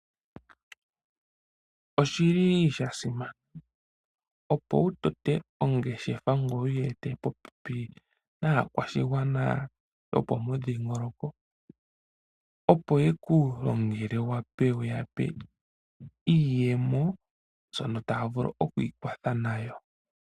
Oshili sha simana opo wu tote ongeshefa ngoye wuyi ete popepi naakwashigwana yopomudhingoloko. Opo yeku longele wu yape iiyemo, shono taya vulu oku ikwatha nayo.